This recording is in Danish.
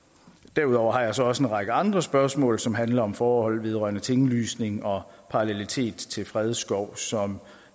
derudover har jeg så også en række andre spørgsmål som handler om forhold vedrørende tinglysning og parallelitet til fredskov som